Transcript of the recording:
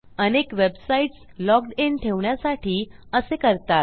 अनेक websites logged in ठेवण्यासाठी असे करतात